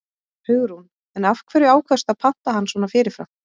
Hugrún: En af hverju ákvaðstu að panta hann svona fyrirfram?